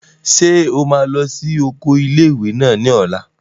Ṣé o máa lọ sí oko ilé-ìwé náà ní ọ̀la?